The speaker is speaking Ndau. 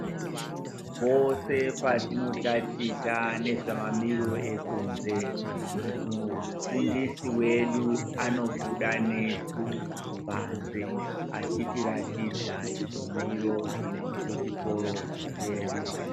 Pose patinotaticha nezvemamiriro ekunze mufundisi wedu anobuda nesu panze achitiradza chimiro chechikoro chedu.